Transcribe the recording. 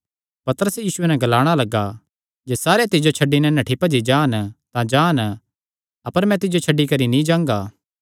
पतरस यीशुये नैं ग्लाणा लग्गा जे सारे तिज्जो छड्डी नैं नठ्ठी भी जान तां जान अपर मैं तिज्जो छड्डी करी नीं जांगा